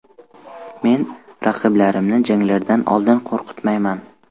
Men raqiblarimni janglardan oldin qo‘rqitmayman.